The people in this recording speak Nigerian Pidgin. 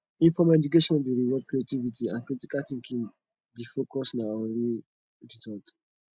informal education dey reward creativity and critical thinking di focus na on real result